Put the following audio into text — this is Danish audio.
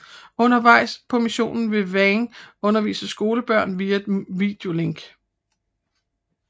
Undervejs på missionen vil Wang undervise skolebørn via et videolink